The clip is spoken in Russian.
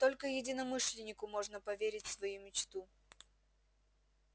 только единомышленнику можно поверить свою мечту